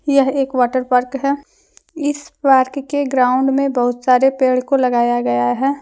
यह एक water park है इस पार्क के ग्राउंड में बहुत सारे पेड़ को लगाया गया है।